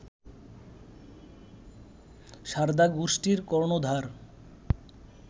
সারদা গোষ্ঠীর কর্ণধার